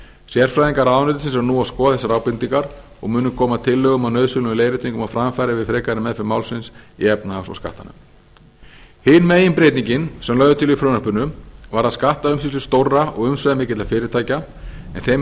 sérfræðingar ráðuneytisins eru nú að skoða þessar ábendingar og munu koma tillögum og nauðsynlegum leiðréttingum á framfæri við frekari meðferð málsins í efnahags og skattanefnd hin meginbreytingin sem lögð er til í frumvarpinu varðar skattaumsýslu stórra og umsvifamikilla fyrirtækja en þeim